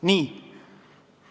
Nii.